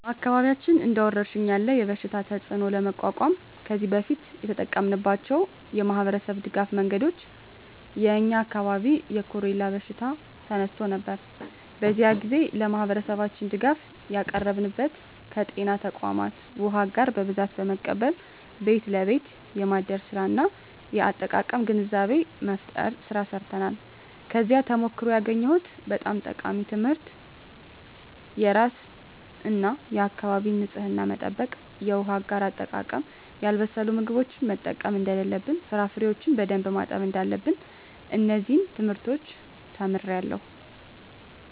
በአካባቢያችን እንደ ወረርሽኝ ያለ የበሽታ ተፅእኖ ለመቋቋም ከዚህ በፊት የተጠቀምንባቸው የማኅበረሰብ ድጋፍ መንገዶች የ የኛ አካባቢ የኮሬላ በሽታ ተከስቶ ነበር። በዚያ ግዜ ለማህበረሠባችን ድጋፍ ያቀረብንበት ከጤና ተቋማት ዉሃ አጋር በብዛት በመቀበል ቤት ለቤት የማደል ስራ እና የአጠቃቀም ግንዛቤ መፍጠር ስራ ሰርተናል። ከዚያ ተሞክሮ ያገኘሁት በጣም ጠቃሚ ትምህርት የራስን እና የአካቢን ንፅህና መጠበቅ፣ የውሃ አጋር አጠቃቀም፣ ያልበሰሉ ምግቦችን መጠቀም እደለለብን፣ ፍራፍሬዎችን በደንብ ማጠብ እዳለብን። እነዚን ትምህርቶች ተምሬአለሁ።